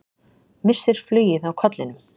Missir flugið á kollinum.